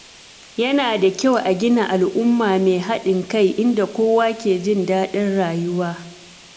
Yana da kyau a gina al’umma mai haɗin kai inda kowa ke jin daɗin rayuwa.